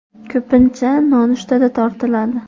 Ko‘pincha nonushtada tortiladi.